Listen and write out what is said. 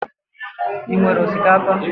Ị nwere osikapa?